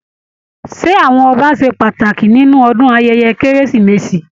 Ṣé àwọn Ọba ṣe pàtàkì nínú ayẹyẹ ọdún kérésìmesì?